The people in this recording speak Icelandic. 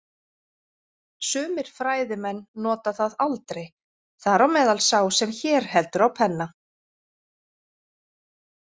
Sumir fræðimenn nota það aldrei, þar á meðal sá sem hér heldur á penna.